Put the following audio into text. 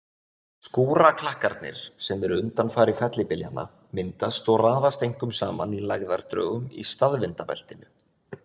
Skúraklakkarnir sem eru undanfari fellibyljanna myndast og raðast einkum saman í lægðardrögum í staðvindabeltinu.